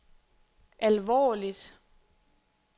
alvorligt